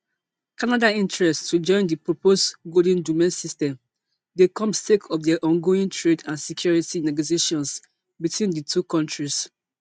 canada interest to join di proposed golden dome system dey come sake of dia ongoing trade and security negotiations between di two kontris